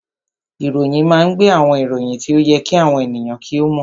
Ìròyìn máa ń gbé àwọn ìròyìn tí ó yẹ kí àwọn ènìyàn kí ó mọ̀